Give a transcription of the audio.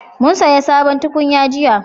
Mun saya sabon tukunya jiya